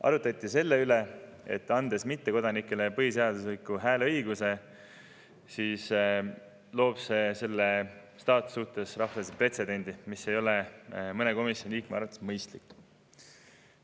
Arutati ka selle üle, et mittekodanikele põhiseadusega hääleõiguse andmine loob selle staatuse suhtes rahvusvahelise pretsedendi, mis ei ole mõne komisjoni liikme arvates mõistlik.